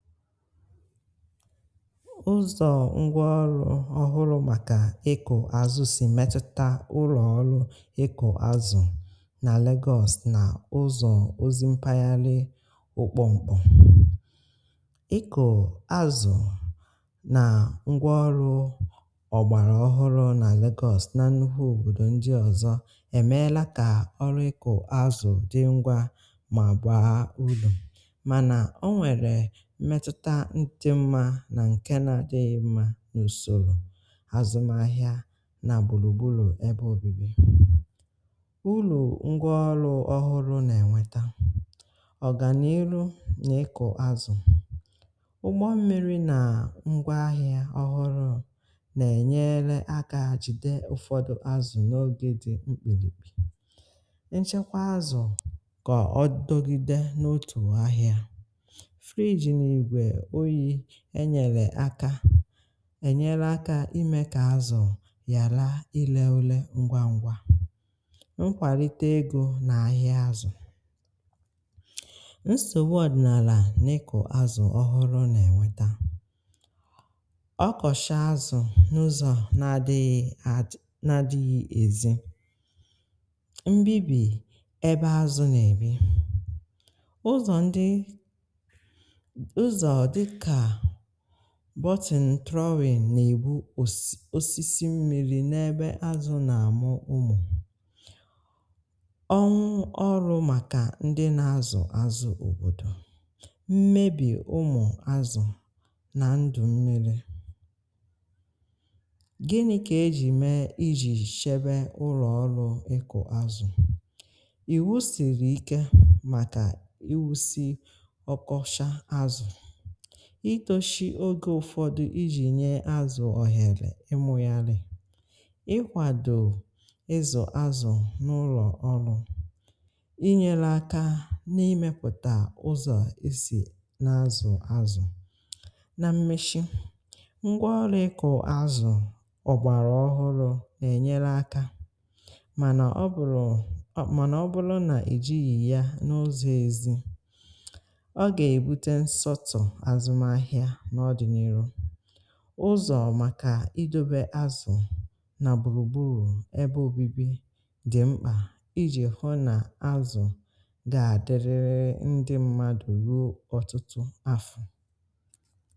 Ụ́zọ̀ ngwáọrụ́ ọhụrụ́ màkà ịkụ̀ azụ̀ sì metụtà ụrọ̀ ọrụ̀ ịkụ̀ azụ̀ nà Lagos[na] nà ụzọ̀ ozi mpaghali. Ịkụ̀ azụ̀ nà ngwà ọrụ̀ ọgbàrà ọhụrụ̀ nà Lagos nà nnukwu òbòdò ndi ọzọ̀, è meela kà ọrụ̀ ịkụ̀ azụ̀ dị̀ ngwà mà gbàa ulo. Mana ọ nwere mmetụta dị mmā na nke na-dịghị mma n’usoro azụmàahịá nà gburugburu ebe obibi. Ulo ngwaọlụ́ ọhụrụ́ na-enwetá, ọganirù n’ịkụ̀ azụ̀. Ụgbọ mmirì na ngwaahịá ọhụrụ́ na-enyeele áká jide ụfọdụ̀ azụ̀ n’oge dị mkpirikpì. Nchekwá azụ̀ ka ọ dugide n’otù ahịà. Fridge na ígwè oyi e nyèlè akȧ ènyere akȧ imė kà azụ̀ yàla i lele ule ngwa ngwa. Mkwàlite egó nà ahịa azụ̀, nsògbu ọdị̀nàlà n’ị̀kụ̀ azụ̀ ọhụrụ̀ nà-ènweta. Ọkọ̀shaa azụ̀ n’ụzọ̀ nà dịghị àdị nà dịghị èzi, mbibì ebe azụ̀ nà-èbi, ụzọ̀ ndi ụzọ dịka button trowing nà-èbu osisi mmiri n’ebe azụ̀ nà-àmụ ụmụ̀. Ọnwụ ọrụ màkà ndị nà-azụ̀ azụ̀ òbòdò. Mmebì ụmụ̀ azụ̀ nà ndụ̀ mmiri. Gịnị kà ejì mee iji shebe ụrọ̀ ọrụ ịkụ azụ̀? Iwu sìrì ike màkà iwu sì ọkọcha azụ̀ ítóshí ogė ụ̀fọdụ iji nye azụ̀ ọhèrè ịmụ́yàlị̀ ịkwàdò ịzụ̀ azụ̀ n’ụlọ̀ ọrụ, inyere aka n'imėpụ̀tà ụzọ̀ esì na-azụ̀ azụ̀. Na mmeshi, ngwa ọrụ ịkụ azụ̀ ọ̀gbàrà ọhụrụ n’enyere aka mànà ọ bụ̀rụ̀ ọ mànà ọ bụrụ nà èjighì ya n’ụzọ̀ ezi, ọ ga-ebute nsọ́tụ̀ azụmaahịa n'ọ̀dịniihú. Ụ́zọ̀ makà idobè azụ̀ nà gbùrùgburù ebe obibi dị mkpà iji hụ́ na azụ̀ ga-adịrịrị ndị mmadụ̀ ruo ọtụtụ afọ̀.